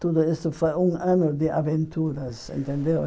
Tudo isso foi um ano de aventuras, entendeu?